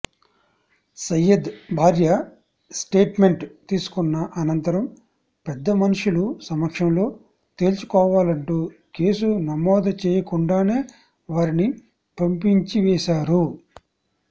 సయ్యద్ భార్య స్టేట్మెంట్ తీసుకున్న అనంతరం పెద్దమనుషులు సమక్షంలో తేల్చుకోవాలంటూ కేసు నమోదు చేయకుండానే వారిని పంపించివేశారు